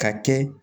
Ka kɛ